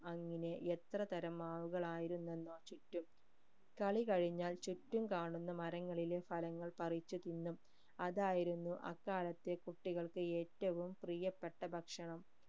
അങ്ങനെ എത്ര തരം മാവുകൾ ആയിരുന്നെന്നോ ചുറ്റും കളി കഴിഞ്ഞാൽ ചുറ്റും കാണുന്ന മരങ്ങളിലെ ഫലങ്ങൾ പറിച്ചു തിന്നും അതായിരുന്നു അക്കാലത്തെ കുട്ടികൾക്ക് ഏറ്റവും പ്രിയപ്പെട്ട ഭക്ഷണം